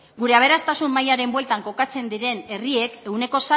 gure aberastasun mailaren bueltan kokatzen diren herriek ehuneko